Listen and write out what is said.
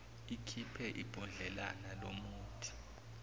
ikhiphe ibhodlelana lomuthi